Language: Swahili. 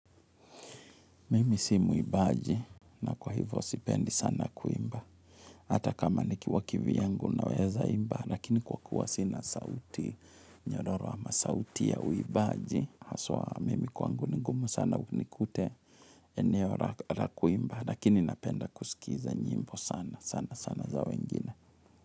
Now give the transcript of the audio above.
Mimi si muimbaji na kwa hivyo sipendi sana kuimba. Hata kama nikiwa kivyangu naweza imba, lakini kwa kuwa sina sauti nyoyoro ama sauti ya uimbaji, haswa mimi kwangu ni ngumu sana unikute eneo la kuimba, lakini napenda kusikiza nyimbo sana, sana, sana za wengine.